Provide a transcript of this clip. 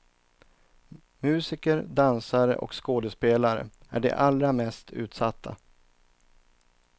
Musiker, dansare och skådespelare är de allra mest utsatta.